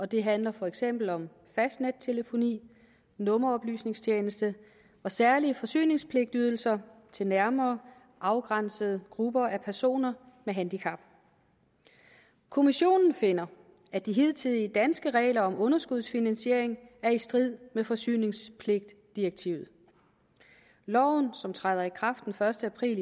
det handler for eksempel om fastnettelefoni nummeroplysningstjeneste og særlige forsyningspligtydelser til nærmere afgrænsede grupper af personer med handicap kommissionen finder at de hidtidige danske regler om underskudsfinansiering er i strid med forsyningspligtdirektivet loven som træder i kraft den første april